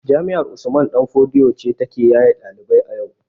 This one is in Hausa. Jami'ar usman ɗan fodio ce ta ke yaye ɗalibai a yau